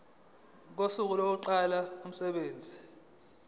kosuku lokuqala kokusebenza